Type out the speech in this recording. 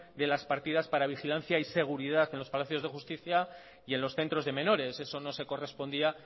de las partidas para la vigilancia y seguridad en los palacios de justicia y en los centros de menores eso no se correspondía